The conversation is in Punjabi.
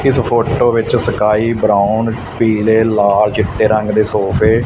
ਇਸ ਫੋਟੋ ਵਿੱਚ ਸਕਾਈ ਬਰਾਉਨ ਪੀਲੇ ਲਾਲ ਚਿੱਟੇ ਰੰਗ ਦੇ ਸੋਫੇ ।